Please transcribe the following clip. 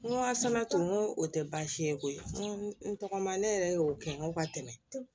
N ko a sɛnɛ tun ko o tɛ baasi ye koyi n ko n tɔgɔma ne yɛrɛ y'o kɛ n ko ka tɛmɛ